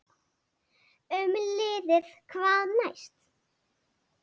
Um liðið: Hvað næst?